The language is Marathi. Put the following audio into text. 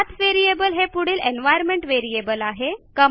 पाठ व्हेरिएबल हे पुढील एन्व्हायर्नमेंट व्हेरिएबल आहे